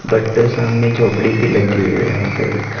but सामने झोंपड़ी भी लगी हुई हे यहा पर एक --